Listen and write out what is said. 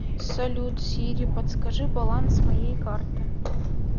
салют сири подскажи баланс моей карты